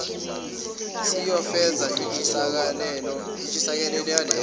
siyofeza intshisekelo yaleyo